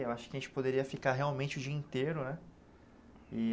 Eu acho que a gente poderia ficar realmente o dia inteiro, né?